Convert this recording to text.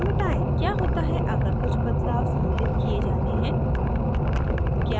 क्या होता है अगर कुछ बदलाव सम्मिलित किये जाने हैं